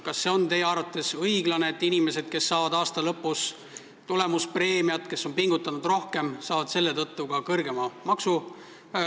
Kas see on teie arvates õiglane, et inimestele, kes saavad aasta lõpus tulemuspreemiat, kes on rohkem pingutanud, rakendub selle tõttu ka kõrgem maksumäär?